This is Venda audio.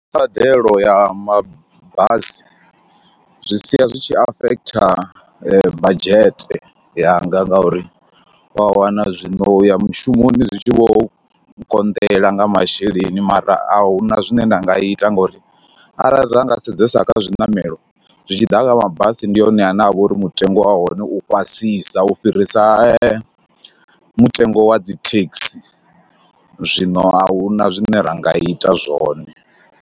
Kha mbadelo ya mabasi zwi sia zwi tshi afekhitha budget yanga ngauri wa wana zwino u ya mushumoni zwi tshi vho konḓela nga masheleni mara a hu na zwine nda nga ita ngauri arali ra nga sedzesa kha zwiṋamelo, zwi tshi ḓa kha mabasi ndi hone ane a vha uri mutengo wa hone u fhasisa u fhirisa mutengo wa dzi thekhisi, zwino a hu na zwine ra nga ita zwone.